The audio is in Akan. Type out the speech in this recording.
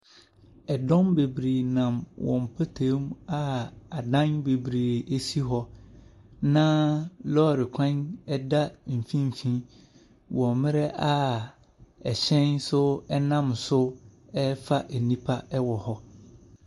Dɔm bebree nam wɔn mpɔtam mu a adan bebree si hɔ, na lɔre kwan da mfimfini wɔ mmerɛ a hyɛn nso nam so refa nnipa wɔ hɔ.